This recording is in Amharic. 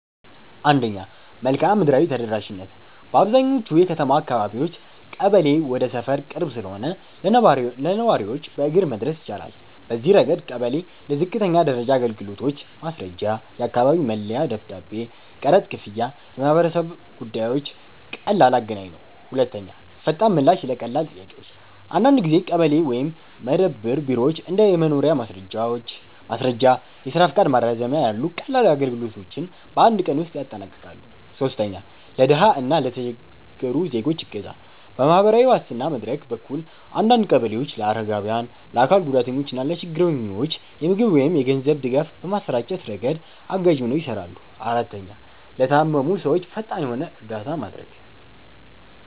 1. መልክዓ ምድራዊ ተደራሽነት - በአብዛኛዎቹ የከተማ አካባቢዎች ቀበሌ ወደ ሰፈር ቅርብ ስለሆነ ለነዋሪዎች በእግር መድረስ ይቻላል። በዚህ ረገድ ቀበሌ ለዝቅተኛ ደረጃ አገልግሎቶች (ማስረጃ፣ የአካባቢ መለያ ደብዳቤ፣ ቀረጥ ክፍያ፣ የማህበረሰብ ጉዳዮች) ቀላል አገናኝ ነው። 2. ፈጣን ምላሽ ለቀላል ጥያቄዎች - አንዳንድ ጊዜ ቀበሌ ወይም መደብር ቢሮዎች እንደ የመኖሪያ ማስረጃ፣ የስራ ፈቃድ ማራዘሚያ ያሉ ቀላል አገልግሎቶችን በአንድ ቀን ውስጥ ያጠናቅቃሉ። 3. ለድሃ እና ለተቸገሩ ዜጎች እገዛ - በማህበራዊ ዋስትና መድረክ በኩል አንዳንድ ቀበሌዎች ለአረጋውያን፣ ለአካል ጉዳተኞች እና ለችግረኞች የምግብ ወይም የገንዘብ ድጋፍ በማሰራጨት ረገድ አጋዥ ሆነው ይሰራሉ። 4, ለታመሙ ሰዎች ፈጣን የሆነ እርዳታ ማድረግ